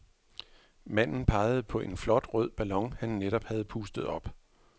Manden pegede på en flot rød ballon, han netop havde pustet op.